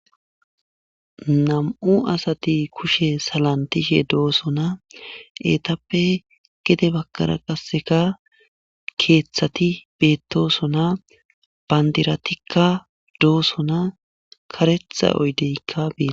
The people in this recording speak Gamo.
nam7u asati kushe salantishe dooso na eetappe gede bakara qasseka keeththati beettosona bandiratikka dooso na karetha oydeykka biita